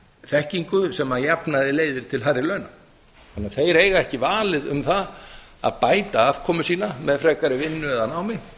þekkingu sem að jafnaði leiðir til hærri launa þeir eiga því ekki valið um það að bæta afkomu sína með frekari vinnu eða námi